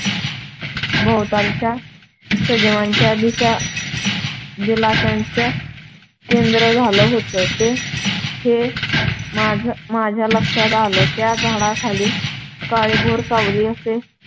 भोवतालच्या सजीवांच्य दिलाशाचं केंद्र झालं होतं. हे माझ्या माझ्या लक्षात आलं त्या झाडाखाली काळीभोर सावली असे.